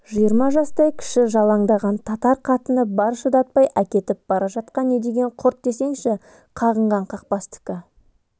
жиырма жастай кіші жалаңдаған татар қатыны бар шыдатпай әкетіп бара жатқан не деген құрт десеңші қағынған қақпастікі